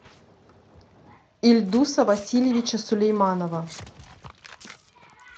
ильдуса васильевича сулейманова